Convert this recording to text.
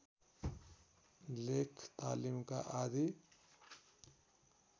लेख तालिका आदि